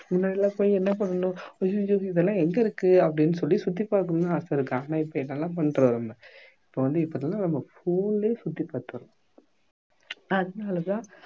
முன்ன எல்லாம் போய் என்ன பண்ணனும் ஐய்யையோ இதெல்லாம் எங்க இருக்கு அப்படின்னு சொல்லி சுத்தி பாக்கணும்னு ஆசையிருக்கும் ஆனா இப்ப என்னலாம் பண்றோம் நம்ம இப்ப வந்து இப்ப எப்படின்னா நம்ம phone லயே சுத்தி பாத்துடறோம் அதனால தான்